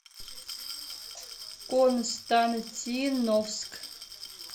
константиновск